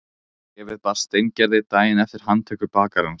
Bréfið barst Steingerði daginn eftir handtöku bakarans.